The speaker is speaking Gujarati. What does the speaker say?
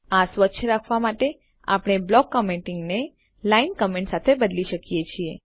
આ સ્વચ્છ રાખવા માટે આપણે બ્લોક કમેન્ટિંગ ને line કોમેન્ટ સાથે બદલી શકીએ છીએ